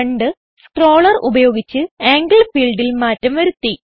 രണ്ട് സ്ക്രോളർ ഉപയോഗിച്ച് ആംഗിൾ ഫീൽഡിൽ മാറ്റം വരുത്തി